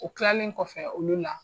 U kilalen kɔfɛ olu na.